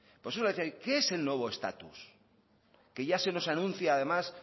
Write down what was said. por eso le decía yo qué es el nuevo estatus que ya se nos anuncia además